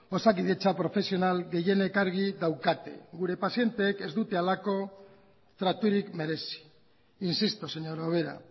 osakidetza profesional gehienek argi daukate gure pazienteek ez dute halako traturik merezi insisto señora ubera